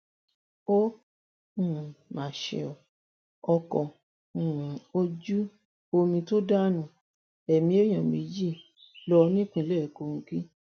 ó um mà ṣe o ọkọ um ojú omi tó dánú ẹmí èèyàn méjì lọ nípínlẹ kogi